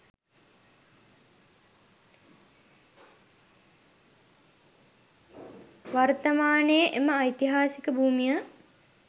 වර්තමානයේ එම ඓතිහාසික භූමිය